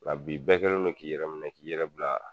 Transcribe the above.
La bi bɛɛ kɛlen don k'i yɛrɛ minɛ k'i yɛrɛ bila